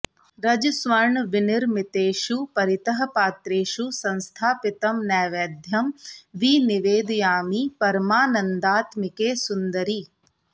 रजस्वर्णविनिर्मितेषु परितः पात्रेषु संस्थापितं नैवेद्यं विनिवेदयामि परमानन्दात्मिके सुन्दरि